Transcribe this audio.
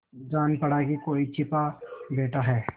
जान पड़ा कि कोई छिपा बैठा है